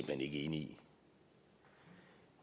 hen ikke enig i